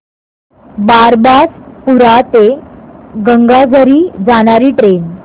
बारबासपुरा ते गंगाझरी जाणारी ट्रेन